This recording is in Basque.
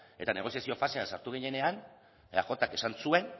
eta negoziazio fasean sartu ginenean eajk esan zuen